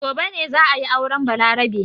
Gobe ne za a yi auren Balarabe.